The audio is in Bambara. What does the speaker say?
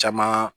Caman